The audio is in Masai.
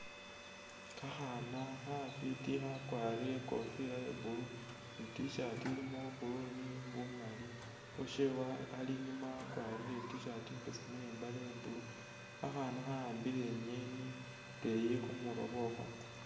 Khakhaana khafwiti khakwarire ikofiila ifwiti iya blue ne i’tshirt ilimo bwa blue ne bumaali uwooshe ali inyuma wakwarire I'T-shirt imbeseemu ne khakhaana khawambile ingeni nga ili khumurwe khwakho e